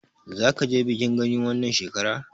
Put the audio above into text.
Zaka je bikin Gani wannan shekarar?